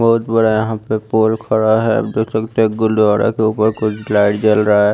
बहुत बड़ा यहां पे पोल खड़ा है गुरुद्वारा के ऊपर कोई लाइट जल रहा है।